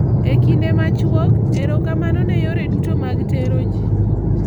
E kinde machuok, erokamano ne yore duto mag tero ji.